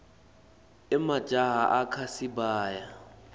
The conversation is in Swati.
emajaha akha sibaya